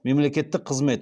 мемлекеттік қызмет